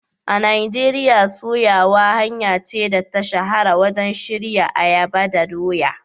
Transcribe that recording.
A Najeriya, soyawa hanya ce da ta shahara wajen shirya ayaba da doya.